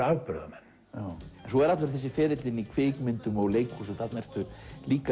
afburðamenn svo er allur þessi ferill þinn í kvikmyndum og leikhúsi þarna ertu líka